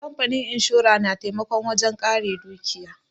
Kamfanin inshora na taimako wajen ƙare dukiya.